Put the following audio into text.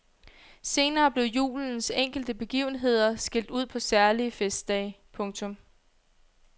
Senere blev julens enkelte begivenheder skilt ud på særlige festdage. punktum